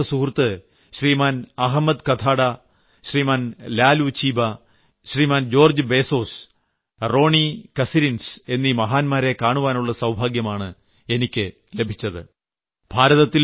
നെൽസൺമണ്ടേലയുടെ അടുത്ത സുഹൃത്ത് Shriman Ahmed Kathrada Shriman Lalu Chiba Shriman George Bizos Ronnie Kasrils എന്നീ മഹാന്മാരെ കാണാനുള്ള സൌഭാഗ്യമാണ് എനിയ്ക്ക് ലഭിച്ചത്